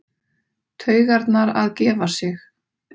Taugarnar að gefa sig.